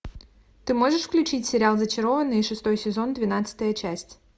ты можешь включить сериал зачарованные шестой сезон двенадцатая часть